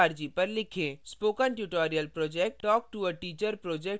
spoken tutorial project talktoateacher project का हिस्सा है